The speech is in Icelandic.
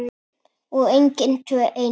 Og engin tvö eins.